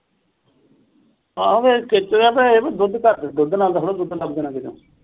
ਆਹੋ ਫਿਰ ਖੇਚਲ ਆ ਤੇ ਦੁੱਧ ਘੱਟ ਦੁੱਧ ਨਾਲ ਦਾ ਥੋੜਾ ਦੁੱਧ ਲੱਭਦਾ ਹੋਣਾ ਕਿਥੋਂ।